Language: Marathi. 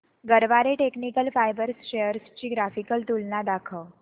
गरवारे टेक्निकल फायबर्स शेअर्स ची ग्राफिकल तुलना दाखव